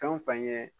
Fɛn o fɛn ye